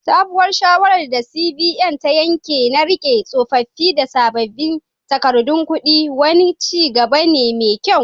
Sabuwar shawarar da CBN ta yanke na rike tsofaffin da sabbin takardun kudi, wani ci gaba ne mai kyau.